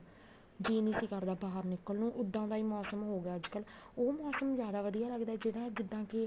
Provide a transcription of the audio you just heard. ਜੀ ਨੀ ਸੀ ਕਰਦਾ ਬਾਹਰ ਨਿੱਕਲਣ ਨੂੰ ਉੱਦਾਂ ਦਾ ਹੀ ਮੋਸਮ ਹੋਗਿਆ ਅੱਜਕਲ ਉਹ ਮੋਸਮ ਜਿਆਦਾ ਵਧੀਆ ਲੱਗਦਾ ਜਿਹੜਾ ਜਿੱਦਾਂ ਕੇ